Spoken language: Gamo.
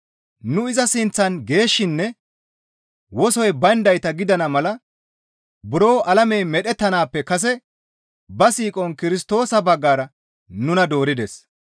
Nu iza sinththan geeshshinne wosoy bayndayta gidana mala buro alamey medhettanaappe kase ba siiqon Kirstoosa baggara nuna doorides.